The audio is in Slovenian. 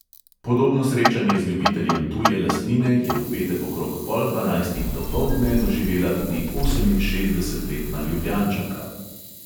Podobno srečanje z ljubiteljem tuje lastnine je v petek okrog pol dvanajstih dopoldne doživela tudi oseminšestdesetletna ljubljančanka.